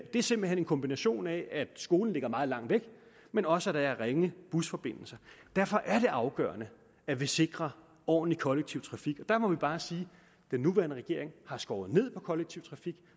er simpelt hen en kombination af at skolen ligger meget langt væk men også at der er ringe busforbindelser derfor er det afgørende at vi sikrer ordentlig kollektiv trafik og der må vi bare sige at den nuværende regering har skåret ned på kollektiv trafik